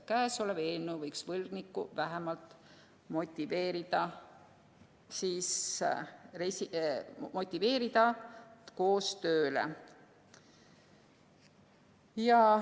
Käesolev eelnõu võiks võlgnikku vähemalt motiveerida koostööle.